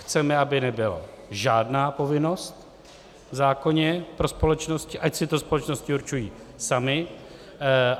Chceme, aby nebyla žádná povinnost v zákoně pro společnosti, ať si to společnosti určují samy.